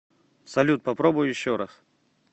салют попробуй еще раз